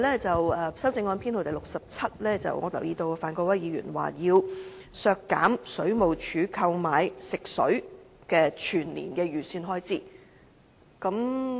在修正案編號 67， 我留意到范國威議員提出要削減水務署購買食水的全年預算開支。